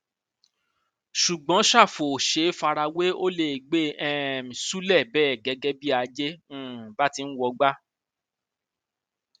ṣùgbọn ṣàfù ò ṣeé fara wé ó lè gbé e um ṣúlẹ bẹẹ bí ajé um bá ti ń wọgbà